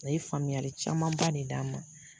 A ye faamuyali camanba de d'a ma.